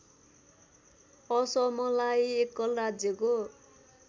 असमलाई एकल राज्यको